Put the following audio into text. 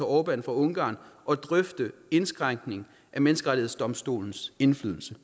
orbán fra ungarn og drøfte indskrænkning af menneskerettighedsdomstolens indflydelse